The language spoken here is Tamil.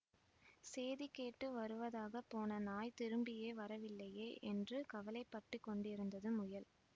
சேதி கேட்டு வருவதாகப் போன நாய் திரும்பியே வரவில்லையே என்று கவலைப்பட்டுக்கொண்டிருந்தது முயல்